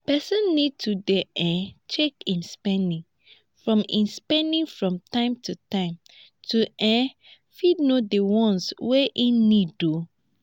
person need to dey um check im spending from im spending from time to time to um fit know di ones wey im need um